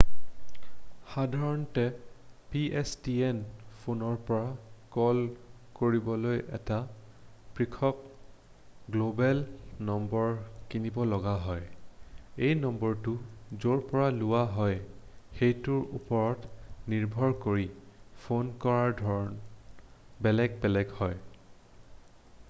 সাধাৰণতে pstn ফোনৰ পৰা কল কৰিবলৈ এটা পৃথক গ্ল'বেল নম্বৰ কিনিব লগা হয় এই নম্বৰটো য'ৰ পৰা লোৱা হয় সেইটোৰ ওপৰত নিৰ্ভৰ কৰি ফোন কৰাৰ ধৰণ বেলেগ বেলেগ হয়